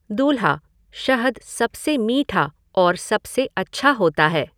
दूल्हा शहद सबसे मीठा और सबसे अच्छा होता है।